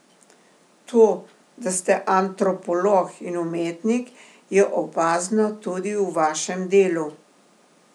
To, da ste antropolog in umetnik, je opazno tudi v vašem delu.